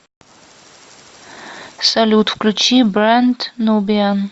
салют включи брэнд нубиан